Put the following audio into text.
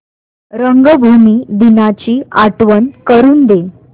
रंगभूमी दिनाची आठवण करून दे